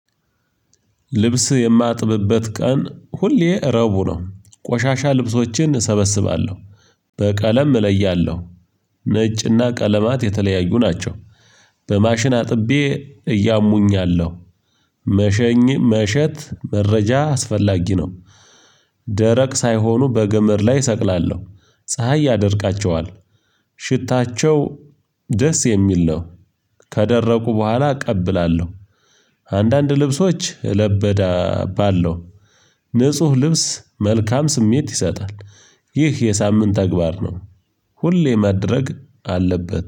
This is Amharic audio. ልብስ የማጥብበት ቀን ሁሌ ረቡዕ ነው ቆሻሻ ልብሶችን እሰበስባለሁ። በቀለም እለያለሁ ነጭና ቀለማት የተለያዩ ናቸው በማሽን አጥቤ እያሙኝ አለሁ። መሸኝ መሸት መረጃ አስፈላጊ ነው። ደረቅ ሳይሆኑ በገመድ ላይ እሰቅላለሁ፤ ፀሀይ ያደርቃቸዋል ሽታቸው ደስ የሚል ነው ከደረቁ በኋላ እቀብላለሁ። አንዳንድ ልብሶች ለበዳ ባለው ንጹህ ልብስ መልካም ስሜት ይሰጣል ይህ የሳምንት ተግባር ነው ሁሌ ማድረግ አለበት